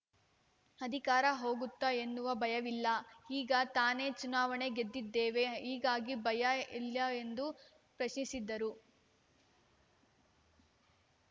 ಅಧಿಕಾರ ಹೋಗುತ್ತೆ ಎನ್ನುವ ಭಯವಿಲ್ಲ ಈಗ ತಾನೇ ಚುನಾವಣೆ ಗೆದ್ದಿದ್ದೇವೆ ಹೀಗಾಗಿ ಭಯ ಇಲ್ಲ ಎಂದು ಪ್ರಶ್ನಿಸಿದರು